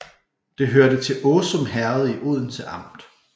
Det hørte til Åsum Herred i Odense Amt